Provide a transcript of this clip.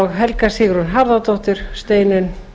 helga sigrún harðardóttir steinunn